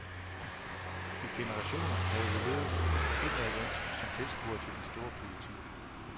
I generationer havde vi levet indadvendt, som tilskuere til den store politik.